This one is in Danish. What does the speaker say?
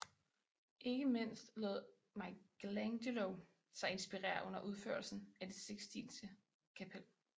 Ikke mindst lod Michelangelo sig inspirere under udførelsen af det Sixtinske Kapel